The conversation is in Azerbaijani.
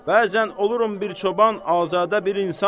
Bəzən olurum bir çoban, azadə bir insan.